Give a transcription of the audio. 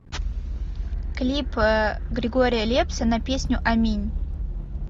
клип григория лепса на песню аминь